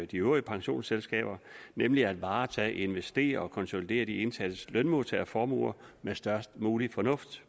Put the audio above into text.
de øvrige pensionsselskaber nemlig at varetage investere og konsolidere de indsatte lønmodtagerformuer med størst mulig fornuft